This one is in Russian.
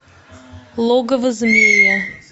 логово змея